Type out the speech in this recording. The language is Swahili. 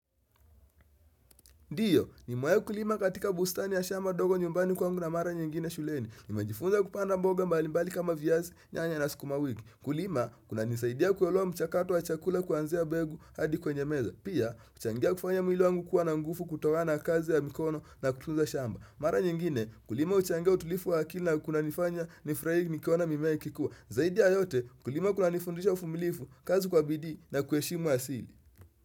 Ndiyo, ni mewai kulima katika bustani ya shamba dogo nyumbani kwangu na mara nyingine shuleni. Nimejifunza kupanda mboga mbalimbali kama viazi nyanya na sukuma wiki. Kulima, kuna nisaidia kuelewa mchakato wa chakula kuanzia begu hadi kwenye meza. Pia, uchangia kufanya mwili wangu kuwa na ngufu kutokana kazi ya mikono na kutunza shamba. Mara nyingine, kulima uchangia utulifu wa akili na kuna nifanya ni furahi nikiona mimea ikikua. Zaidi ya yote, kulima kuna nifundisha ufumilifu, kazi kwa bidii na kueshimu asili.